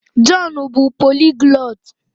Jọn bụ poliglọt.